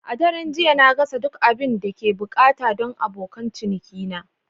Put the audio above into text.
A daren jiya, na gasa duk abin da ake buƙata don abokan cinikina.